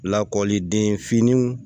Lakɔliden fimanw